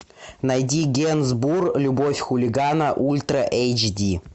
найди генсбур любовь хулигана ультра эйч ди